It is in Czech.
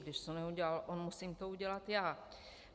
Když to neudělal on, musím to udělat já.